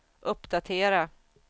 uppdatera